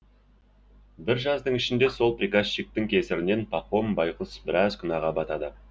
бір жаздың ішінде сол приказчиктің кесірінен пахом байғұс біраз күнәға батады